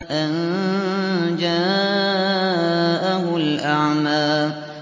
أَن جَاءَهُ الْأَعْمَىٰ